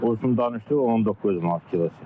Qoçun danışıq 19 manat kilosu.